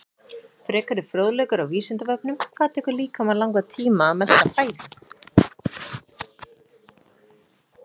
Frekari fróðleikur á Vísindavefnum: Hvað tekur líkamann langan tíma að melta fæðu?